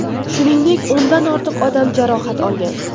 Shuningdek, o‘ndan ortiq odam jarohat olgan.